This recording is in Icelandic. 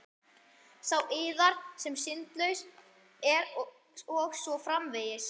Sá yðar sem syndlaus er og svo framvegis.